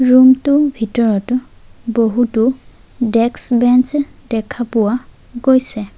Room টো ভিতৰতো বহুতো ডেস্ক বেঞ্চ দেখা পোৱা গৈছে।